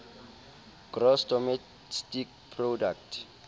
gross domestic product